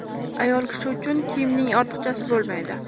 Ayol kishi uchun kiyimning ortiqchasi bo‘lmaydi.